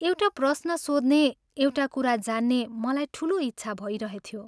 एउटा प्रश्न सोध्ने एउटा कुरा जान्ने मलाई ठूलो इच्छा भइरहेथ्यो।